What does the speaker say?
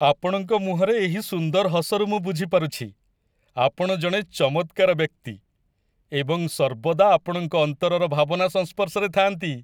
ଆପଣଙ୍କ ମୁହଁରେ ଏହି ସୁନ୍ଦର ହସରୁ ମୁଁ ବୁଝି ପାରୁଛି, ଆପଣ ଜଣେ ଚମତ୍କାର ବ୍ୟକ୍ତି ଏବଂ ସର୍ବଦା ଆପଣଙ୍କ ଅନ୍ତରର ଭାବନା ସଂସ୍ପର୍ଶରେ ଥାଆନ୍ତି।